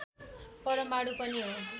परमाणु पनि हो